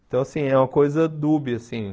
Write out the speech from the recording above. Então, assim, é uma coisa dúbia, assim.